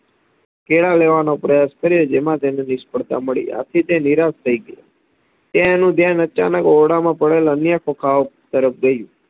કેળા લેવાનો પ્રયાસ કર્યો જેમાં તેને નિષ્ફળતા મળી આથી તે નિરાશ થઇ ગયો ત્યાંએનું ધ્યાન ઓરડામાં પડેલ અન્ય ખોખાઓ ઉપર ગયું